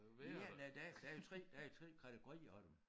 Ja nej der er der er jo 3 der er jo 3 kategorier af dem